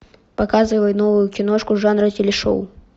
показывай новую киношку жанра телешоу